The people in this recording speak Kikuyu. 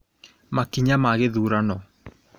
Makinya ma gĩthurano.